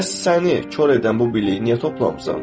Bəs səni kor edən bu biliyi niyə toplamısan?